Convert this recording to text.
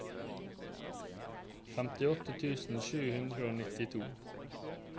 femtiåtte tusen sju hundre og nittito